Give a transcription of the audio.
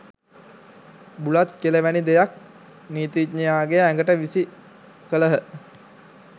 බුලත් කෙළ වැනි දෙයක් නීතිඥයාගේ ඇඟට විසි කළහ.